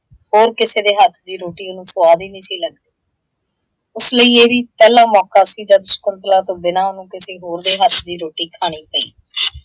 ਹੋਰ ਕਿਸੇ ਦੇ ਹੱਥ ਦੀ ਰੋਟੀ ਉਹਨੂੰ ਸੁਆਦ ਹੀ ਨਹੀਂ ਸੀ ਲੱਗਦੀ। ਉਸ ਲਈ ਇਹ ਵੀ ਪਹਿਲਾ ਮੌਕਾ ਸੀ ਜੱਦ ਸ਼ਕੁੰਤਲਾ ਤੋਂ ਬਿਨਾਂ ਉਹਨੂੰ ਕਿਸੀ ਹੋਰ ਦੇ ਹੱਥ ਦੀ ਰੋਟੀ ਖਾਣੀ ਪਈ ।